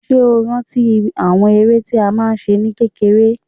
Ṣé o rántí àwọn eré tí a máa ń ṣe ní kékeré?